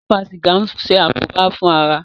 Fífa sìgá ń ṣe àkóbá fún ara.